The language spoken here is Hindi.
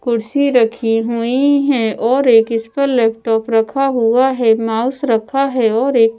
कुर्सी रखी हुई है और एक इस पर लैपटॉप रखा हुआ है माउस रखा है और एक--